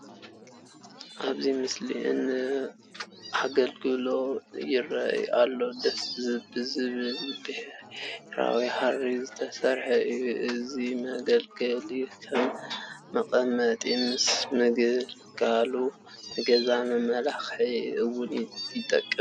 ኣብዚ ምስሊ ኣግልግል ይርአ ኣሎ፡፡ ደስ ብዝብል ብሕብራዊ ሃሪ ዝተሰርሐ እዩ፡፡ እዚ መገልገሊ ከም መቐመጢ ምስ ምግልጋሉ ንገዛ መመላክዒ እውን ይጠቅም፡፡